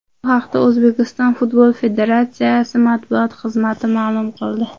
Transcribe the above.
Bu haqda O‘zbekiston Futbol federatsiyasi matbuot xizmati ma’lum qildi .